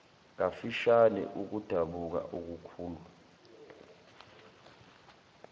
kafishane ukudabuka okukhulu